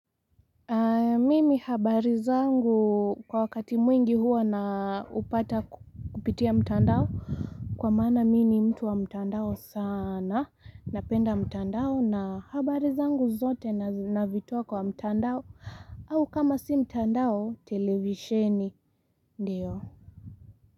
Mimi habari zangu kwa wakati mwingi huwa na upata kupitia mtandao Kwa maana mimi ni mtu wa mtandao sana Napenda mtandao na habari zangu zote navitoa kwa mtandao au kama si mtandao televisheni ndiyo.